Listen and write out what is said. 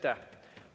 Aitäh!